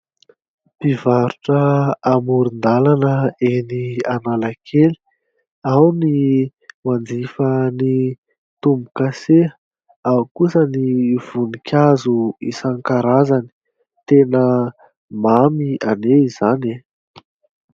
Mpivarotra amoron-dalana eny Analakely. Ao ny manjifa ny tombokasea, ao kosa ny voninkazo isan-karazany tena mamy anie izany.